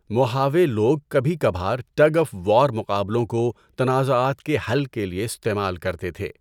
Mohave لوگ کبھی کبھار ٹگ آف وار مقابلوں کو تنازعات کے حل کے لیے استعمال کرتے تھے۔